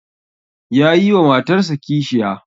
Yayi wa matarsa kishiya